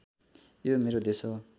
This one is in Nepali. यो मेरो देश हो